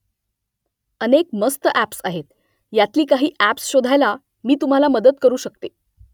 अनेक मस्त ॲप्स आहेत . यांतली काही ॲप्स शोधायला मी तुम्हाला मदत करू शकते